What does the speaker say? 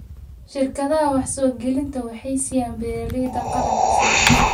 Shirkadaha wax-soo-gelinta waxay siiyaan beeralayda qalab casri ah.